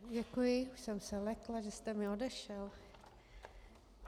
Děkuji, už jsem se lekla, že jste mi odešel.